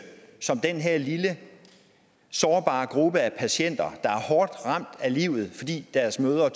som den her lille sårbare gruppe af patienter der er hårdt ramt af livet fordi deres mødre